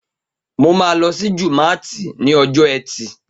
Mo ma lọ sí jùmátì ni ọjọ́ etì